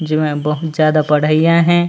जेमा बहुत ज्यादा पढ़इयया हे।